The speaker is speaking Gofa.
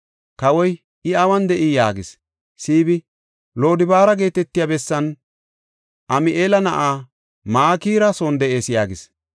Kawoy, “I awun de7ii?” yaagis. Siibi, “Lodobaara geetetiya bessan Ami7eela na7aa Makira son de7ees” yaagis.